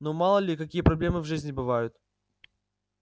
ну мало ли какие проблемы в жизни бывают